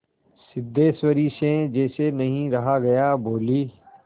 सिद्धेश्वरी से जैसे नहीं रहा गया बोली